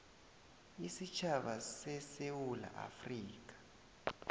isitjhaba sesewula afrika